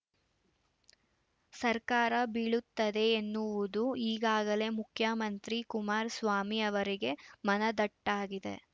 ಸರ್ಕಾರ ಬೀಳುತ್ತದೆ ಎನ್ನುವುದು ಈಗಾಗಲೇ ಮುಖ್ಯಮಂತ್ರಿ ಕುಮಾರಸ್ವಾಮಿ ಅವರಿಗೆ ಮನದಟ್ಟಾಗಿದೆ